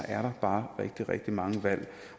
er der bare rigtig rigtig mange valg